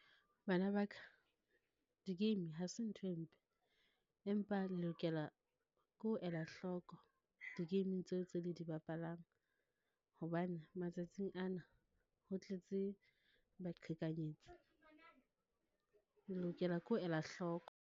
Bana ba ka, di-game ha se ntho e mpe, empa le lokela ke ho ela hloko di-game-ing tseo tse le di bapalang. Hobane matsatsing ana ho tletse baqhekanyetsi, le lokela ke ho ela hloko.